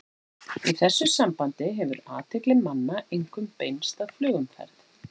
Í þessu sambandi hefur athygli manna einkum beinst að flugumferð.